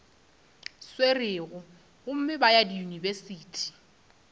swerego gomme ba ye diyunibesithi